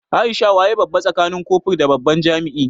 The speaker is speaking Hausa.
Aisha waye babba tsakanin kofur da babban jami'i?